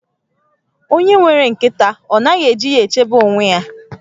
Onye nwere nkịta ọ naghị eji ya echebe onwe ya?